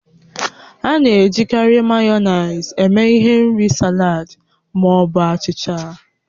A na-ejikarị Mayonezi eme ihe n'ịri salad ma ọ bụ achịcha